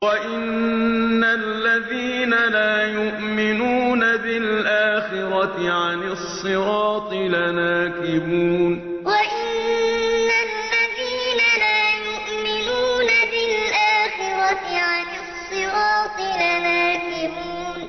وَإِنَّ الَّذِينَ لَا يُؤْمِنُونَ بِالْآخِرَةِ عَنِ الصِّرَاطِ لَنَاكِبُونَ وَإِنَّ الَّذِينَ لَا يُؤْمِنُونَ بِالْآخِرَةِ عَنِ الصِّرَاطِ لَنَاكِبُونَ